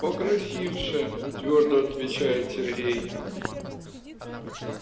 покрасивше твёрдо отвечает сергей